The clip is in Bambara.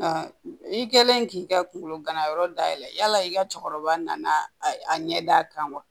Nka i kɛlen k'i ka kungolo ganayɔrɔ dayɛlɛ yala i ka cɛkɔrɔba nana a ɲɛ d'a kan wa